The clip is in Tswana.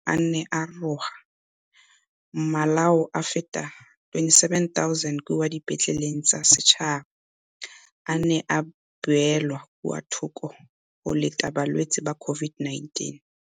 Fa Seetebosigo a ne a roga, malao a feta 27 000 kwa dipetleleng tsa setšhaba a ne a beelwa kwa thoko go leta balwetse ba COVID-19.